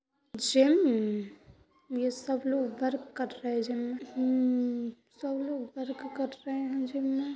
Gym ये सब लोग वर्क कर रहे हैं जिम में। हममम सब लोग वर्क कर रहे हैं जिम में।